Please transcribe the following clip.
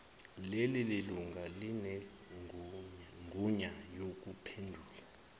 lelilunga linegunya lokuphendula